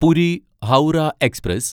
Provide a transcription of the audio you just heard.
Puri Howrah express